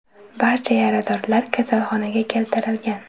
Barcha yaradorlar kasalxonaga keltirilgan.